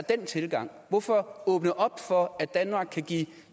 den tilgang hvorfor åbne op for at danmark kan give